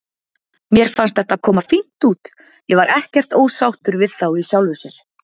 Mér fannst þetta koma fínt út, ég var ekkert ósáttur við þá í sjálfu sér.